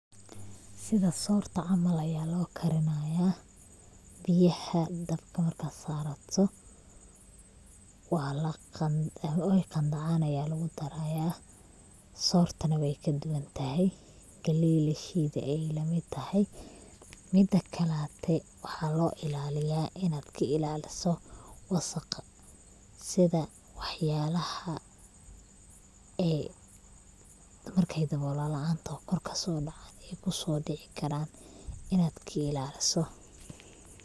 Sidha sorta camal aya lokarinaya, biyaxa dabka marka sarato, oy qandhanac aya lagudaraya, sortana way kaduwntaxay, galey lashede ayay lamid taxay, midakalate waxa loilaliya inadh kailaliso, wasaqa sidha waxyalaaxa ee cunta marka dawola laan toxoo kor kasodoco kusodicikaraa inadh kailaliso.